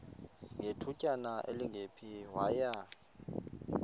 ngethutyana elingephi waya